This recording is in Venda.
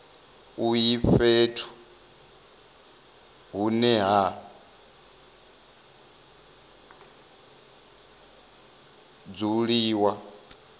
uyu fhethu hune ha dzuliwa